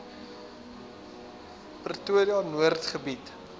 pretoria noord gebied